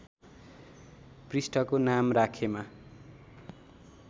पृष्ठको नाम राखेमा